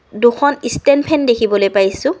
দুখন stand fan দেখিবলৈ পাইছোঁ।